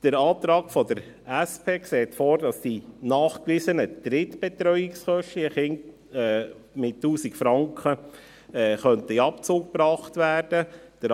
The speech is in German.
Der Antrag der SP sieht vor, dass die nachgewiesenen Drittbetreuungskosten je Kind mit 1000 Franken in Abzug gebracht werden könnten.